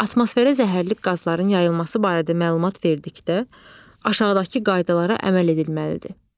Atmosferə zəhərli qazların yayılması barədə məlumat verdikdə aşağıdakı qaydalara əməl edilməlidir: